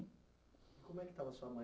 Como é que estava a sua mãe